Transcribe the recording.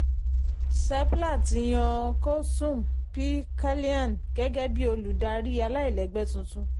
seplat yan Koosum P Kalyan gẹ́gẹ́ bí olùdarí aláìlẹ́gbẹ́ tuntun.